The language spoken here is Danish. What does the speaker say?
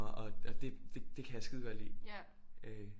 Og det det kan jeg skidegodt lide øh